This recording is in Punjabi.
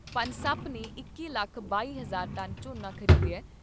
ਪਨਸਪ ਨੇ ਬਾਰਾਂ ਲੱਖ ਬਾਈ ਹਜ਼ਾਰ ਟਨ ਝੋਨਾ ਖ਼ਰੀਦਿਆ ।